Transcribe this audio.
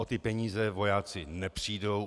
O ty peníze vojáci nepřijdou.